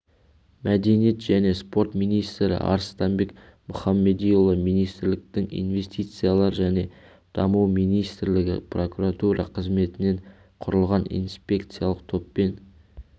мәдениет және спорт министрі арыстанбек мұхамедиұлы министрліктің инвестициялар және даму министрлігі прокуратура қызметтерінен құрылған инспекциялық топпен